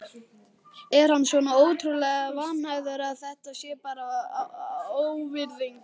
Er hann svona ótrúlega vanhæfur að þetta sé bara óvirðing?